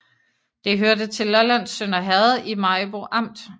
Det hørte til Lollands Sønder Herred i Maribo Amt